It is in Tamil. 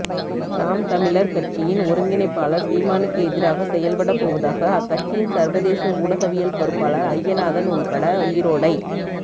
நாம் தமிழர் கட்சியின் ஒருங்கிணைப்பாளர் சீமானுக்கு எதிராக செயல்படப் போவதாக அக்கட்சியின் சர்வதேச ஊடகவியல் பொறுப்பாளர் அய்யநாதன் உள்பட ஈரோடை